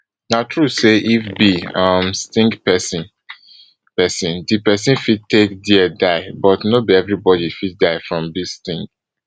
na true say if bee um sting pesin pesin di pesin fit take dia die but no be evribodi fit die from bee sting